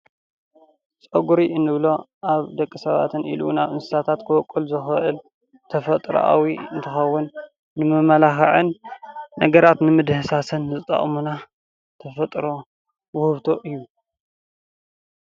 ጨጉሪ እንብሎ ኣብ ደቂ ሰባትን ኢሉ እውን ኣብ እንስሳታት ክወቅል ዝክእል ተፈጥሮኣዊ እንትኸውን ንመመላኽዕን ነገራት ንመዳህሰሲን ዝጠቅሙና ተፈጥሮ ዉህብቶ እዩ፡፡